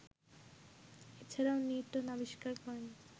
এছাড়াও নিউটন আবিষ্কার করেন